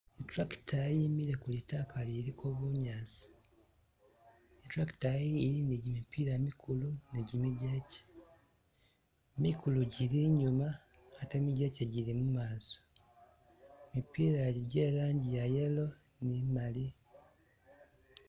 Tractor yimile kulitaka liliko bunyasi, Tractor yi ili ni gimipla mikulu ni gi mijeche, mikulu gili inyuma ate mijeche gili mumaso, ,mipila egi gyelangi yayellow ni imali.